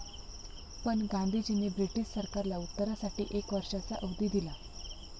पण गांधीजींनी ब्रिटिश सरकारला उत्तरासाठी एक वर्षाचा अवधी दिला.